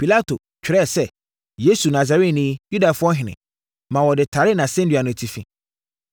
Pilato twerɛɛ sɛ: Yesu Nasareni, Yudafoɔ Ɔhene maa wɔde taree nʼasɛnnua no atifi.